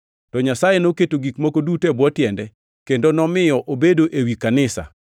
To Nyasaye noketo gik moko duto e bwo tiende, kendo nomiyo obedo wi kanisa;